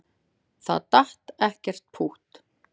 Það datt ekkert pútt.